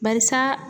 Barisa